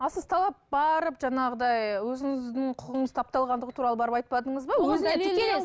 а сіз талап барып жаңағыдай өзіңіздің құқығыңыз тапталғандығы туралы барып айтпадыңыз ба